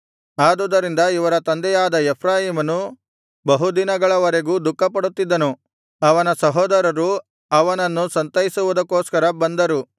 ಆದುದರಿಂದ ಇವರ ತಂದೆಯಾದ ಎಫ್ರಾಯೀಮನು ಬಹುದಿನಗಳವರೆಗೂ ದುಃಖಪಡುತ್ತಿದ್ದನು ಅವನ ಸಹೋದರರು ಅವನನ್ನು ಸಂತೈಸುವುದಕ್ಕೋಸ್ಕರ ಬಂದರು